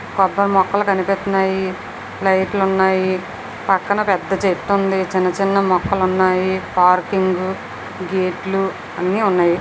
మొక్కలు కనిపిత్తునాయి లైట్ల్ ఉన్నాయి పక్కన పెద్ద చెట్టు ఉంది చిన్న చిన్న మొక్కలున్నాయి పార్కింగు గేటు లు అన్ని ఉన్నాయి.